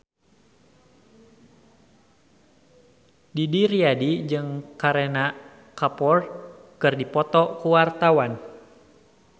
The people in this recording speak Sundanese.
Didi Riyadi jeung Kareena Kapoor keur dipoto ku wartawan